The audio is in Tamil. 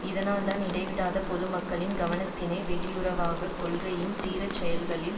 இதனால்தான் இடைவிடாது பொது மக்களின் கவனத்தினை வெளியுறவு கொள்கையின் தீரச்செயல்களில்